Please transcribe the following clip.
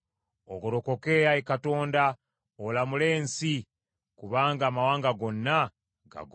Ogolokoke, Ayi Katonda, olamule ensi; kubanga amawanga gonna gago.